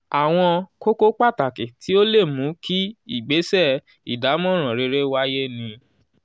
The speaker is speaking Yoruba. àwọn kókó pàtàkì tí ó lè mú kí ìgbésẹ̀ ìdámọ̀ràn rere wáyé ni: